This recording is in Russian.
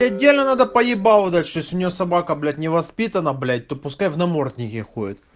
отдельно надо по ебалу дать что если у неё собака блять не воспитана блять то пускай в наморднике ходит